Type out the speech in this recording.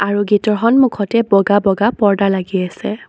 আৰু গেটৰ সন্মুখতে বগা বগা পৰ্দা লাগি আছে।